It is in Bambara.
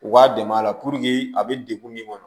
U b'a dɛmɛ a la a bɛ degun min kɔnɔ